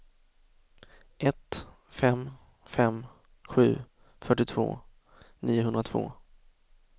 ett fem fem sju fyrtiotvå niohundratvå